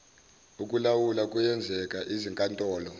okulawula kuyenzeka izinkantolo